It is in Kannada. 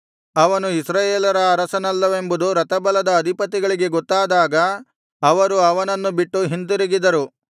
ಅವನು ಇಸ್ರಾಯೇಲರ ಅರಸನಲ್ಲವೆಂಬುದು ರಥಬಲದ ಅಧಿಪತಿಗಳಿಗೆ ಗೊತ್ತಾದಾಗ ಅವರು ಅವನನ್ನು ಬಿಟ್ಟು ಹಿಂತಿರುಗಿದರು